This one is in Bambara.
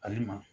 Ayi ma